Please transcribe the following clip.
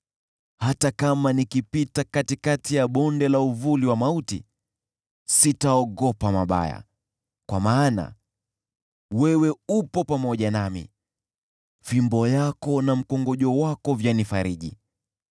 Hata kama nikipita katikati ya bonde la uvuli wa mauti, sitaogopa mabaya, kwa maana wewe upo pamoja nami; fimbo yako na mkongojo wako vyanifariji.